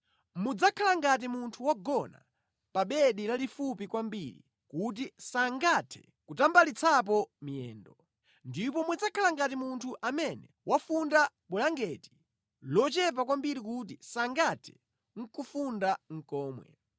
Mudzakhala ngati munthu wogona pa bedi lalifupi kwambiri kuti sangathe kutambalitsapo miyendo; ndiponso mudzakhala ngati munthu amene wafunda bulangeti lochepa kwambiri kuti sangathe nʼkufunda komwe.